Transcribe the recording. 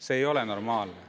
See ei ole normaalne.